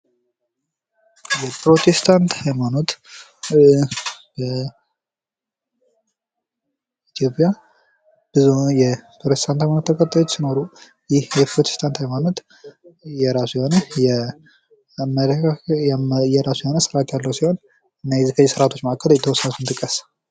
የፕሮቴስታንት ሀይማኖት በኢትዮጵያ ብዙ የፕሮቴስታንት ተከታዮች ሲኖሩ ይህ የፕሮቴስታን ሀይማኖት የራሱ የሆነ አመለካከት ስርአት ያለው ሲሆን እና ከነዚህ ስርአቶች መካከል የተወሰኑትን ጥቀስ።